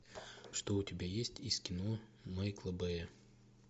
что у тебя есть из кино майкла бэя